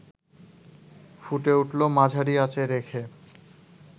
ফুটে উঠলে মাঝারি আঁচে রেখে